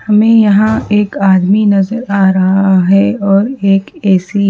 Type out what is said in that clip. हमें यहां एक आदमी नजर आ रहा है और एक ए_सी --